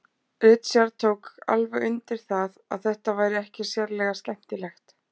Richard tók alveg undir það að þetta væri ekki sérlega skemmtilegt.